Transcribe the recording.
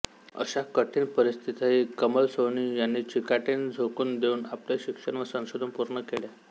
अशा कठीण परिस्थितीतही कमल सोहनी यांनी चिकाटीने झोकून देऊन आपले शिक्षण व संशोधन पूर्ण केले